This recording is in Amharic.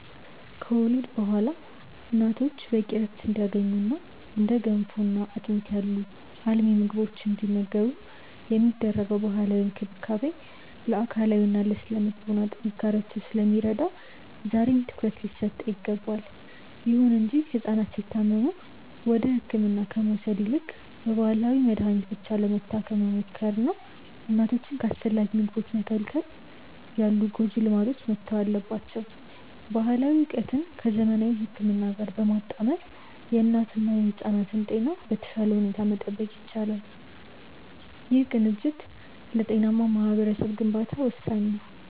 ከወሊድ በኋላ እናቶች በቂ ዕረፍት እንዲያገኙና እንደ ገንፎና አጥሚት ያሉ አልሚ ምግቦችን እንዲመገቡ የሚደረገው ባህላዊ እንክብካቤ ለአካላዊና ለሥነ-ልቦና ጥንካሬያቸው ስለሚረዳ ዛሬም ትኩረት ሊሰጠው ይገባል። ይሁን እንጂ ሕፃናት ሲታመሙ ወደ ሕክምና ከመውሰድ ይልቅ በባህላዊ መድኃኒት ብቻ ለመታከም መሞከርና እናቶችን ከአስፈላጊ ምግቦች መከልከል ያሉ ጎጂ ልማዶች መተው አለባቸው። ባህላዊ ዕውቀትን ከዘመናዊ ሕክምና ጋር በማጣመር የእናትና የሕፃናትን ጤና በተሻለ ሁኔታ መጠበቅ ይቻላል። ይህ ቅንጅት ለጤናማ ማኅበረሰብ ግንባታ ወሳኝ ነው።